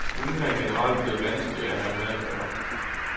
Hundene er generelt blevet vanskeligere at have med at gøre.